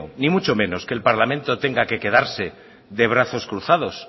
ni mucho menos que el parlamento tenga que quedarse de brazos cruzados